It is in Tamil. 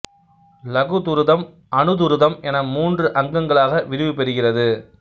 லகு துருதம் அனுதுருதம் என மூன்று அங்கங்களாக விரிவு பெறுகிறது